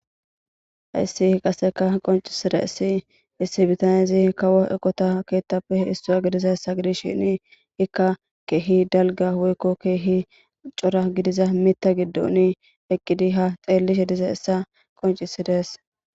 hayssi qaseka qoncisira issi issi bitanezi kawo eqota keettapehe issua gidiza hessa gidis shini ikka keehi dalga woykko keehi cora gidiza mita giddoni eqqidi ha xeelli he diza essa qoncisidees